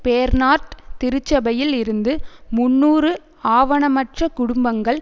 Bernard திருச்சபையில் இருந்து முன்னூறு ஆவணமற்ற குடும்பங்கள்